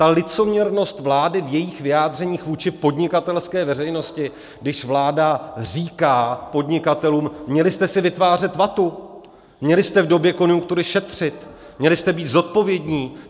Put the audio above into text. Ta licoměrnost vlády v jejích vyjádřeních vůči podnikatelské veřejnosti, když vláda říká podnikatelům: Měli jste si vytvářet vatu, měli jste v době konjunktury šetřit, měli jste být zodpovědní!